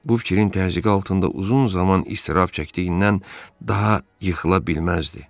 Bu fikrin təzyiqi altında uzun zaman iztirab çəkdiyindən daha yıxıla bilməzdi.